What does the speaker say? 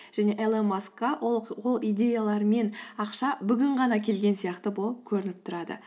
және илон маскқа ол идеялар мен ақша бүгін ғана келген сияқты болып көрініп тұрады